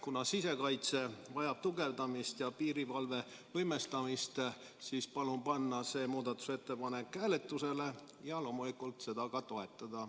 Kuna sisekaitse vajab tugevdamist ja piirivalve võimestamist, siis palun panna see muudatusettepanek hääletusele ja loomulikult seda ka toetada.